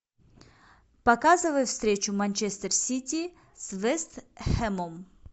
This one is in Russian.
показывай встречу манчестер сити с вест хэмом